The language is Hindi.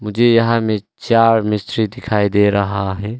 ये यहां में चार मिस्त्री दिखाई दे रहा है।